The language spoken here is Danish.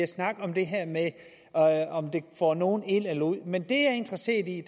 snakke om det her med om det får nogen ind eller ud men det jeg er interesseret i